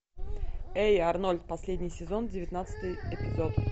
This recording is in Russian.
эй арнольд последний сезон девятнадцатый эпизод